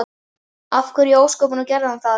Af hverju í ósköpunum gerði hann það?